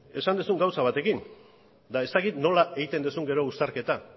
esan duzun gauza batekin eta ez dakit nola egiten duzun gero uztarketa